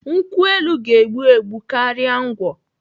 Nkwụ elu ka egbu egbu karịa ngwọ.